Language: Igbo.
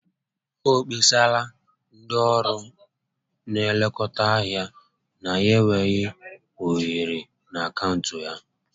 O kpesarala ndị ọrụ nlekọta ahịa na ya enweghị ohere na akaụntụ ya